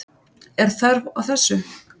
Er þörf á þessu.